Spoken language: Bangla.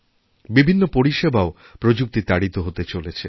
বিভিন্ন পরিষেবাও প্রযুক্তি তাড়িত হতে চলেছে